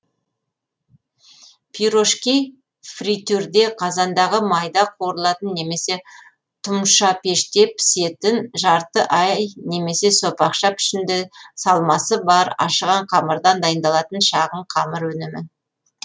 пирожки фритюрде қазандағы майда қуырылатын немесе тұмшапеште пісетін жарты ай немесе сопақша пішіңді салмасы бар ашыған қамырдан дайындалатын шағын қамыр өнімі